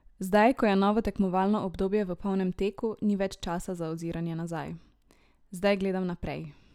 Zdaj, ko je novo tekmovalno obdobje v polnem teku, ni več časa za oziranje nazaj: "Zdaj gledam naprej.